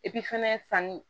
fɛnɛ sanni